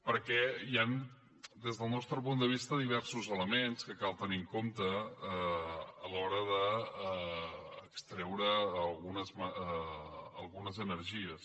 perquè hi han des del nostre punt de vista diversos elements que cal tenir en compte a l’hora d’extreure algunes energies